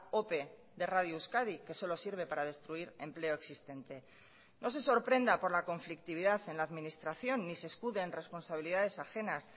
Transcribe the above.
ope de radio euskadi que solo sirve para destruir empleo existente no se sorprenda por la conflictividad en la administración ni se escude en responsabilidades ajenas